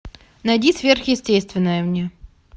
найди сверхъестественное мне